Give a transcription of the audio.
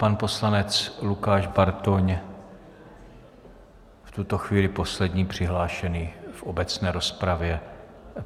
Pan poslanec Lukáš Bartoň, v tuto chvíli poslední přihlášený v obecné rozpravě.